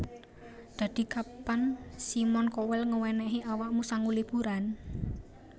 Dadi kapan Simon Cowell ngewenehi awakmu sangu liburan